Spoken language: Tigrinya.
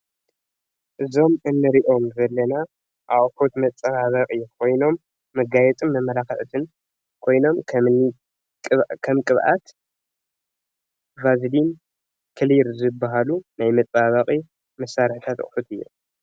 እዞም እንርእዮም ዘለና እቁሑት መጸባብቂ ኮይኖም መጋይጽን መመላክዕትን ኮይኖም ከም ቅብዓት፣ ባዝሊን፣ ክሊር ዝብሃሉ ናይ መጻባበቂ መሳርሕታት ኣቁሑት እዮም።